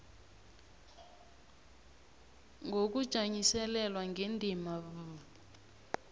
ngokujanyiselelwa ngendima b